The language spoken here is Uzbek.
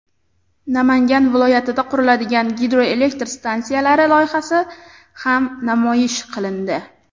Namangan viloyatida quriladigan gidroelektr stansiyalari loyihasi ham namoyish qilindi.